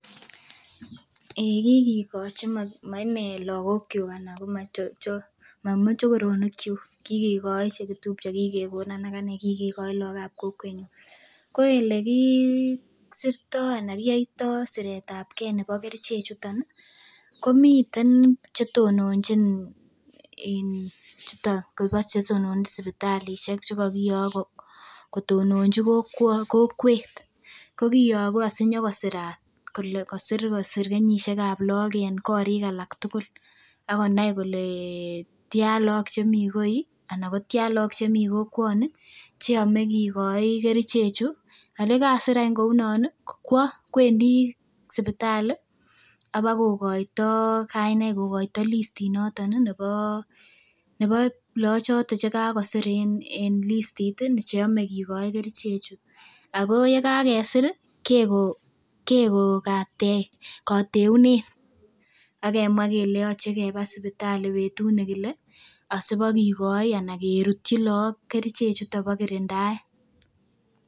Ei kikikochi ma inee lakok kyuk ana mamochokoronik kyuk kikekoi chekitupche kikekonon akanee kikekoi look ab kokwetnyun ko elekisirtoo ana kiyoitoo siretabgee nebo kerichek chuton ih komiten chetononjin chuton chetononjin sipitalisiek chekokiyok kotononji kokwet ko kiyogu asinyokosirat kole kosir kenyisiek ab look en korik alak tugul akonai kole tyan look chemii koi ana ko tyan look chemii kokwoni cheyome kikoi kerichek chu ak yekasir any kounon ih kwo kwendii sipitali al bakokoito kainaik kokoito listit noton ih nebo loochoton chekakosir en listit ih cheyome kikoi kerichek chu ako yekakesir ih keko keko kateunet akemwaa kele yoche keba sipitali betut nekile asibakikoi ana kerutyi look kerichek chuton bo kirindaet.